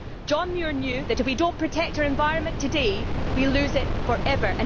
John Muir knew that, if we do not protect our environment today, we will lose it for ever.